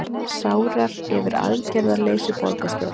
Sárar yfir aðgerðarleysi borgarstjóra